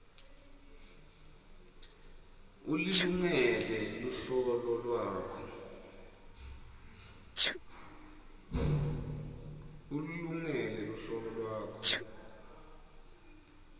ulilungele luhlolo lwakho